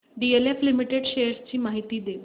DLF limited shares ची माहिती दे